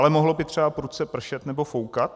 Ale mohlo by třeba prudce pršet nebo foukat.